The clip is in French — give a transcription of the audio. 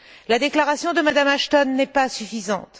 La déclaration de Mme Ashton n'est pas suffisante.